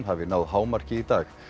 hafi náð hámarki í dag